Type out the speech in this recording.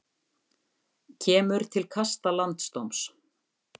Kemur til kasta landsdóms